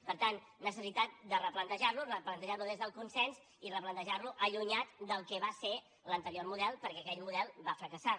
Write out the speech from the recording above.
per tant necessitat de replantejar lo replantejar lo des del consens i replantejar lo allunyat del que va ser l’anterior model perquè aquell model va fracassar